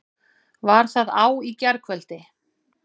Var það á í gærkvöldi?